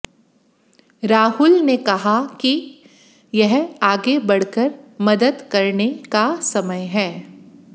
राहुल ने कहा कि यह आगे बढ़कर मदद करने का समय है